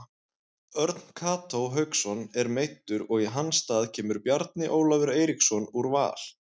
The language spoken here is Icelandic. Örn Kató Hauksson er meiddur og í hans stað kemur Bjarni Ólafur Eiríksson úr Val.